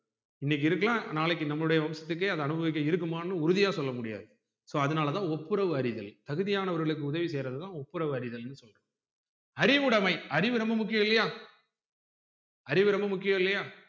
இன்னைக்கு இருக்கல்லாம் நாளைக்கு நம்முடைய இஷ்டத்துக்கு அனுபவிக்க இருக்குமான்னு உறுதியா சொல்லமுடியாது so அதுனால தான் ஒப்புரவு அறிதல் தகுதியானவர்களுக்கு உதவி செய்யறதுதான் ஒப்புரவு அறிதல் அறிவுடைமை அறிவு ரொம்ப முக்கியம் இல்லையா அறிவு ரொம்ப முக்கியம் இல்லையா